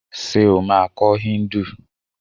Ṣé o máa kọ́ Híndù.